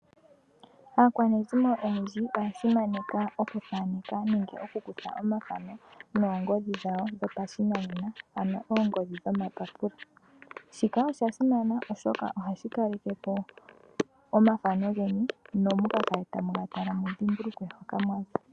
Aakwanezimo oyendji oya simaneka oku thaneka nenge oku kutha omathano noongodhi dhawo dhopashinanena, ano oongodhi dhomapapula. Shika osha simana oshoka ohashi kalekepo omathano geni ne mukakale tamu ga tala, mudhimbulukwe hoka mwa za.